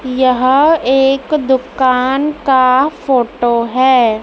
यह एक दुकान का फोटो हैं।